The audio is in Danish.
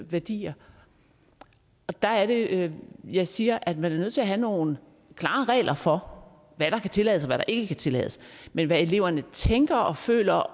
værdier der er det at jeg siger at man er nødt til at have nogle klare regler for hvad der kan tillades og hvad der ikke kan tillades men hvad eleverne tænker og føler